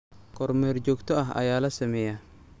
Kormeer joogto ah ayaa la sameeyaa.